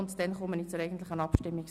Ist das so in Ordnung?